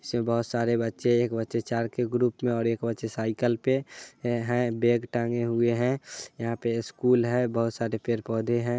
इसमें बहुत सारे बच्चे एक बच्चे चार के ग्रुप मे और एक बच्चे साइकल पे हैं बेग टाँगे हुए हैं यहा पर स्कूल है बहुत सारे पेड़ पोधे हैं।